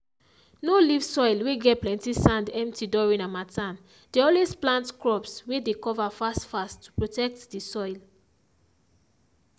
no leave soil whey get plenty sand empty during harmattan dey always plant crops whey dey cover fast fast to protect the soil